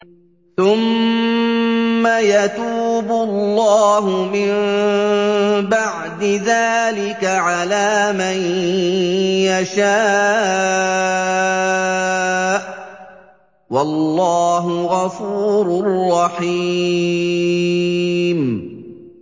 ثُمَّ يَتُوبُ اللَّهُ مِن بَعْدِ ذَٰلِكَ عَلَىٰ مَن يَشَاءُ ۗ وَاللَّهُ غَفُورٌ رَّحِيمٌ